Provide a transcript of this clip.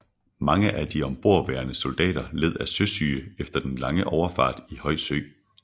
Mange af de ombordværende soldater led af søsyge efter den lange overfart i høj sø